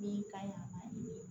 Min ka ɲi a ma